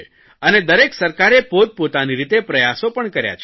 અને દરેક સરકારે પોતપોતાની રીતે પ્રયાસો પણ કર્યા છે